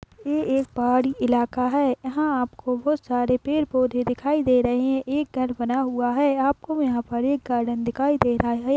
यह एक पहाड़ी इलाका है यहा आपको बहुत सारे पेड़ पौधे दिखाई दे रहे है एक घर बना हुआ है आपको यहा पर एक गार्डन दिखाई दे रहा है।